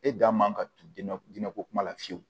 E da man ka t diinɛ diinɛ ko kuma la fiyewu